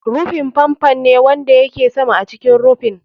Rufi fan fan ne wanda yake sama a cikin rufin.